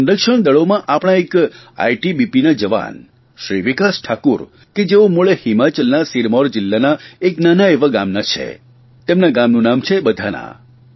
સંરક્ષણદળોમાં આપણા એક ITBPના જવાન શ્રી વિકાસ ઠાકુર કે જેઓ મૂળ હિમાચલના સિરમૌર જિલ્લાના એક નાના એવા ગામના છે તેમના ગામનું નામ છે બધાના